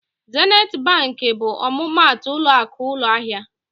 Zenit Bankị bụ ọmụmaatụ ụlọakụ ụlọahịa.